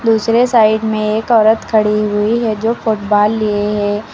दूसरे साइड में एक औरत खड़ी हुई है जो फुटबॉल लिए हैं।